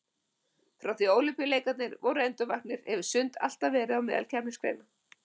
Frá því að Ólympíuleikarnir voru endurvaktir hefur sund alltaf verið á meðal keppnisgreina.